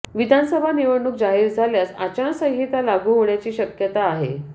विधानसभा निवडणूक जाहीर झाल्यास आचारसंहिता लागू होण्याची शक्मयता आहे